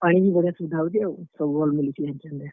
ପାଣି ବି ବଢିଆ ସୁବିଧା ହଉଛେ ଆଉ, ସବୁ ଭଲ୍ ମିଲୁଛେ ।